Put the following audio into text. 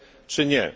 czy nie.